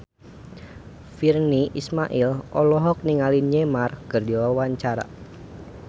Virnie Ismail olohok ningali Neymar keur diwawancara